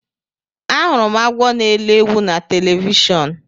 Ahụrụ m agwọ na elọ ewu na telivishọn.